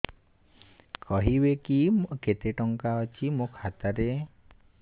କହିବେକି କେତେ ଟଙ୍କା ଅଛି ମୋ ଖାତା ରେ